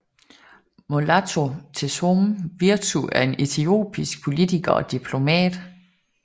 Mulatu Teshome Wirtu er en etiopisk politiker og diplomat